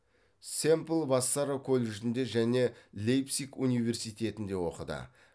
семпл вассара колледжінде және лейпциг университетінде оқыды